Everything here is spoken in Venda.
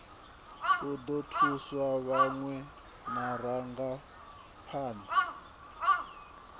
u ḓo thusa vhaṅwe vharangaphan